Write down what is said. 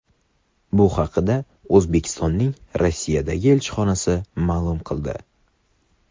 Bu haqda O‘zbekistonning Rossiyadagi elchixonasi ma’lum qildi .